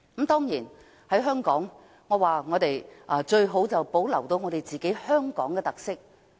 當然，香港最好是能夠保留本身的特色。